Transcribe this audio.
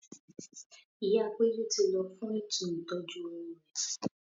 Ìyá péjú ti lọ fún ètò ìtọ́jú oyún rẹ̀ ni